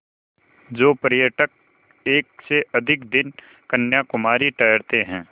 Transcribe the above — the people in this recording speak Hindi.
जो पर्यटक एक से अधिक दिन कन्याकुमारी ठहरते हैं